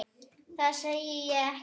Það segi ég ekki.